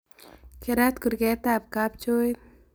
Keraat kurgeet ab kabchooit